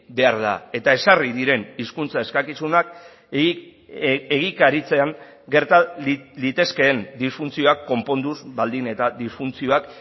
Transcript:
behar da eta ezarri diren hizkuntza eskakizunak egikaritzean gerta litezkeen disfuntzioak konponduz baldin eta disfuntzio bat